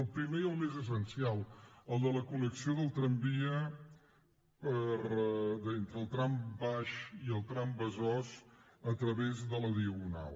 el primer i el més essencial el de la connexió del tramvia entre el trambaix i el trambesòs a través de la diagonal